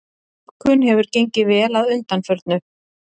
Dýpkun hefur gengið vel að undanförnu